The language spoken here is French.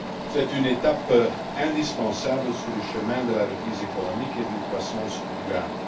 C'est une étape indispensable sur le chemin de la reprise économique et d'une croissance durable.